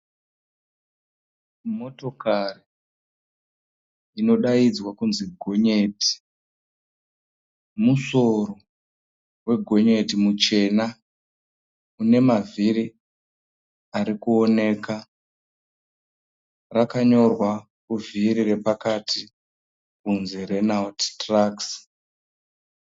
Motokari inodaidzwa kunzi gonyeti. Musoro wegonyeti muchena une mavhiri arikuoneka. Rakanyorwa kuvhiri repakati kuti Renult Trucks.